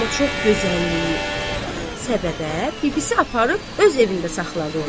Amma çox gözəlliyi səbəbə bibisi aparıb öz evində saxladı onu.